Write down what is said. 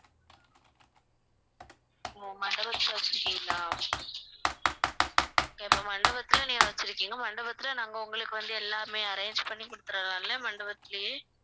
ஓ மண்டபத்தில வெச்சிருக்கீங்களா இப்ப மண்டபத்துல நீங்க வச்சிருக்கீங்க மண்டபத்தில நாங்க உங்களுக்கு வந்து எல்லாமே arrange பண்ணி குடுத்திடலாம் இல்ல மண்டபத்துலேயே